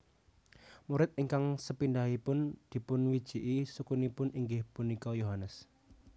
Murid ingkang sepindhahipun dipunwijiki sukunipun inggih punika Yohanes